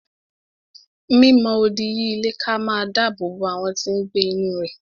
Mi mọ odi yí ilé ká máa dáàbò bo àwọn tí n gbé inú rẹ̀